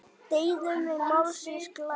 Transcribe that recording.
Deyðum við málsins glæður?